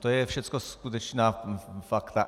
To jsou všecko skutečná fakta.